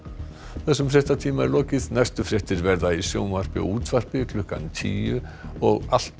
þessum fréttatíma er lokið næstu fréttir verða í sjónvarpi og útvarpi klukkan tíu og alltaf